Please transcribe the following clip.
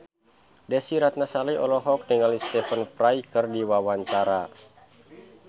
Desy Ratnasari olohok ningali Stephen Fry keur diwawancara